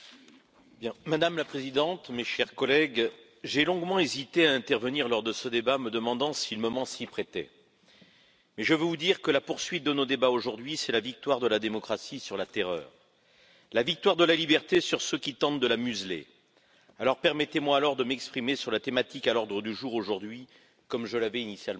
Madame la Présidente, mes chers collègues, j'ai longuement hésité à intervenir lors de ce débat, me demandant si le moment s'y prêtait. Je veux vous dire que la poursuite de nos débats aujourd'hui, c'est la victoire de la démocratie sur la terreur, la victoire de la liberté sur ceux qui tentent de la museler, alors permettez moi de m'exprimer sur la thématique à l'ordre du jour aujourd'hui, comme je l'avais initialement prévu.